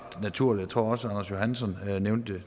naturligt og jeg tror også anders johansson